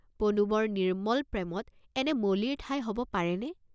পদুমৰ নিৰ্ম্মল প্ৰেমত এনে মলিৰ ঠাই হ’ব পাৰে নে?